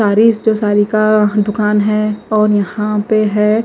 सारी जो सारी का दुकान है और यहां पे है।